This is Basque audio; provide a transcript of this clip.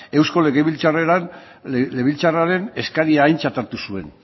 eusko legebiltzarraren eskaria aintzat hartu zuen